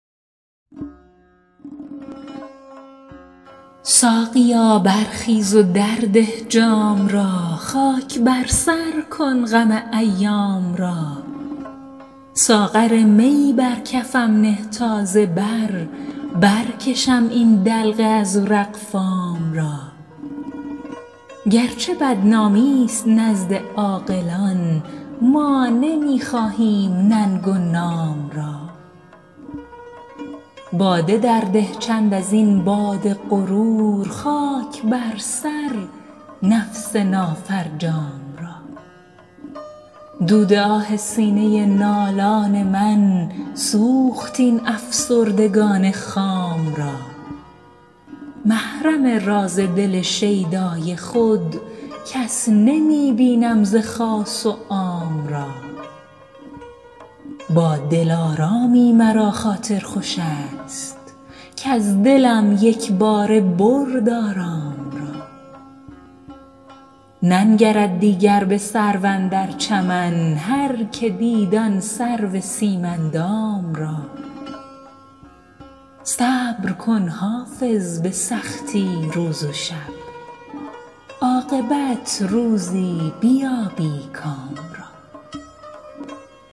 ساقیا برخیز و درده جام را خاک بر سر کن غم ایام را ساغر می بر کفم نه تا ز بر برکشم این دلق ازرق فام را گرچه بدنامی ست نزد عاقلان ما نمی خواهیم ننگ و نام را باده درده چند از این باد غرور خاک بر سر نفس نافرجام را دود آه سینه نالان من سوخت این افسردگان خام را محرم راز دل شیدای خود کس نمی بینم ز خاص و عام را با دلارامی مرا خاطر خوش است کز دلم یک باره برد آرام را ننگرد دیگر به سرو اندر چمن هرکه دید آن سرو سیم اندام را صبر کن حافظ به سختی روز و شب عاقبت روزی بیابی کام را